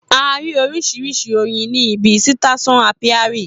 A rí oríṣiríṣi oyin ní ibi sítésàn ápíárì